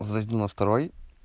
зайду на второй